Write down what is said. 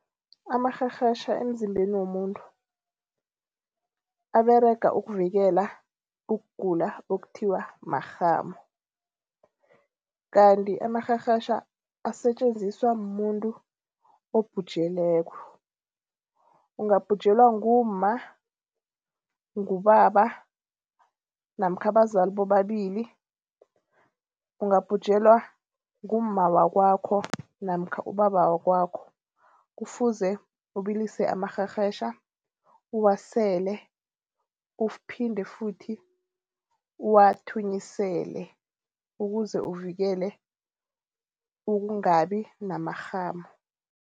Amarherhetjha emzimbeni womuntu, aberega ukuvikela ukugula okuthiwa marhamu. Kanti amarherhetjha asetjenziswa mumuntu obhujelweko. Ungabhujelwa ngumma, ngubaba namkha abazali bobabili. Ungabhujelwa ngumma wakwakho namkha ubaba wakwakho, kufuze ubilise amarherhetjha uwasele uphinde futhi uwathunyisele ukuze uvikele ukungabi namarhamu.